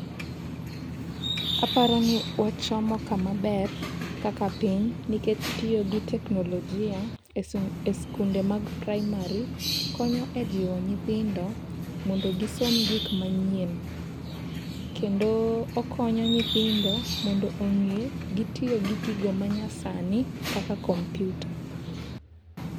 Aparo ni wachomo kama ber kaka piny nikech tiyo gi teknolojia e skunde mag praimari, konyo ejiwo nyithindo mondo gisom gik manyien. Kendo okonyo nyithindo mondo ong'e gitiyo gi gigo manyasani kaka kompiuta.